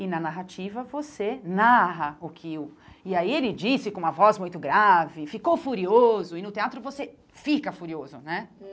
E na narrativa você narra o que o... E aí ele disse com uma voz muito grave, ficou furioso, e no teatro você fica furioso, né?